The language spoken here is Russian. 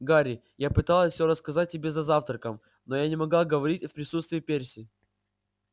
гарри я пыталась всё рассказать тебе за завтраком но я не могла говорить в присутствии перси